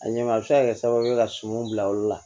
A ɲɛ a bɛ se ka kɛ sababu ye ka suman bila olu la